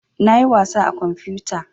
Na yi wasa a kamfuta